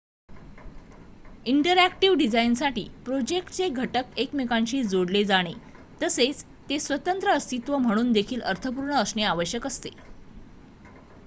interactive डिझाईनसाठी प्रोजेक्टचे घटक एकमेकांशी जोडले जाणे तसेच ते स्वतंत्र अस्तित्व म्हणून देखील अर्थपूर्ण असणे आवश्यक असते